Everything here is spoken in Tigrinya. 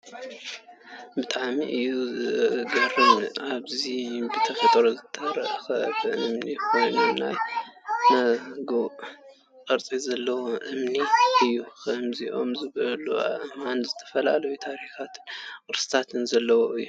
ብጣዕሚ እዩ ዝገርም ! እዚ ብተፈጥሮ ዝተረከበ እምኒ ኮይኑ ናይ መጉእ ቅርፂ ዘለዎ እምኒ እዩ። ከምዚኦም ዝበሉ ኣእማን ዝተፈላለዩ ታሪክን ቅርስን ዘለዎም እዮም።